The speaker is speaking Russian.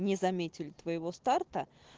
не заметили твоего старта